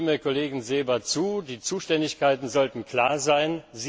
Ich stimme dem Kollegen Seeber zu Die Zuständigkeiten sollten klar sein.